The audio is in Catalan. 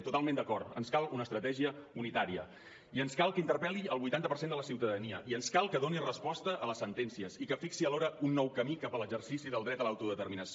totalment d’acord ens cal una estratègia unitària i ens cal que interpel·li el vuitanta per cent de la ciutadania i ens cal que doni resposta a les sentències i que fixi alhora un nou camí cap a l’exercici del dret a l’autodeterminació